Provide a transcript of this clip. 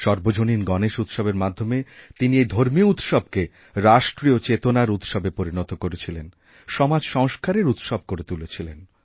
সর্বজনীনগণেশ উৎসবের মাধ্যমে তিনি এই ধর্মীয় উৎসবকে রাষ্ট্রিয় চেতনার উৎসবে পরিণতকরেছিলেন সমাজ সংস্কারের উৎসব করে তুলেছিলেন